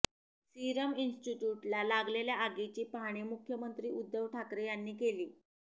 Serum इन्स्ट्यिट्यूटला लागलेल्या आगीची पाहणी मुख्यमंत्री उद्धव ठाकरे यांनी केली